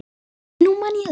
Nú man ég það!